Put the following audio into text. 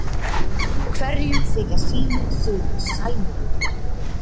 Hverjum þykja sínir siðir sæmilegir.